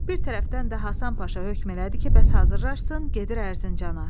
Bir tərəfdən də Həsən Paşa hökm elədi ki, bəs hazırlaşsın, gedir Ərzincana.